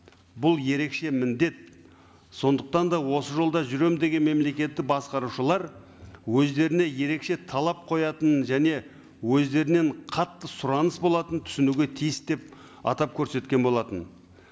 бұл ерекше міндет сондықтан да осы жолда жүремін деген мемлекетті басқарушылар өздеріне ерекше талап қоятынын және өздерінен қатты сұраныс болатынын түсінуге тиіс деп атап көрсеткен болатын